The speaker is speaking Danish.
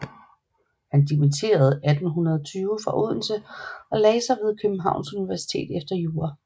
Han dimitteredes 1820 fra Odense og lagde sig ved Københavns Universitet efter jura